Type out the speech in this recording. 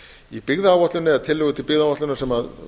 í byggðaáætlun eða tillögu til byggðaáætlunar sem